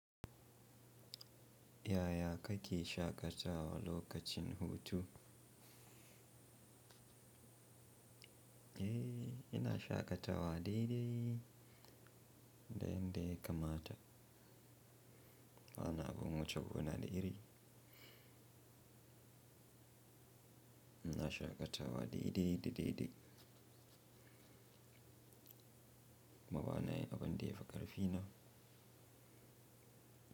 Yaya kake shaƙatawa lokacin hutun? Yaya kake shaƙatawa lokacin hutun? Wani abun wuce gona da iri. Ina shaƙatawa daidai da daidai. Kuma banayin abin da ya fi ƙarfi na.